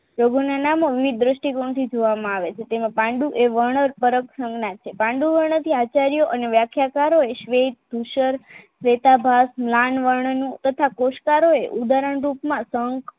રોગો ને નાના વિવિધ દ્રષ્ટિ કોણ થી જોવામાં આવે છે તેમ આ પાંડુ એ વર્ણો પરત સંજ્ઞા છે પાંડુ વર્ણ થી આચાર્ય અને વ્યાખ્યાકારો સ્વેત ભુશર સ્વેતાભાગ જ્ઞાનવર્ણનું તથા પ્રેષકરો ઉદાહરણ રૂપમાં શંખ